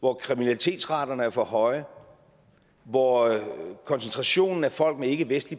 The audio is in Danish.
hvor kriminalitetsraten er for høj hvor koncentrationen af folk med ikkevestlig